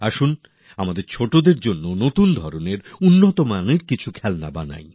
আসুন আমাদের যুব অংশের জন্য কোনো নতুন ধরনের ভালো গুণমানের খেলনা তৈরী করি